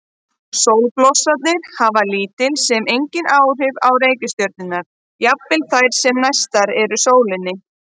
Sólblossarnir hafa lítil sem engin áhrif á reikistjörnurnar, jafnvel þær sem næstar sólinni eru.